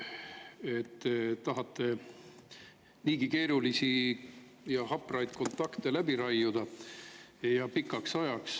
Te tahate niigi keerulisi ja hapraid kontakte läbi raiuda, ja pikaks ajaks.